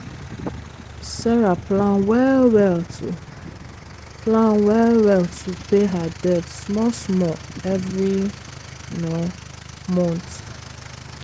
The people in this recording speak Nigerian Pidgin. sarah plan well-well to plan well-well to pay her debt small-small every month.